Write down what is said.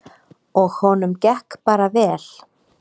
Og honum gekk bara vel.